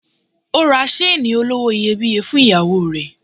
Ó ra seeni olówó iyebíye fún ìyàwó rẹ̀.